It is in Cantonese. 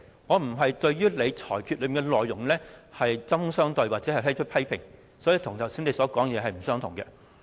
我不是針對你的裁決內容作出批評，所以跟你剛才所說是不同的。